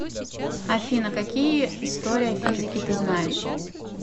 афина какие история физики ты знаешь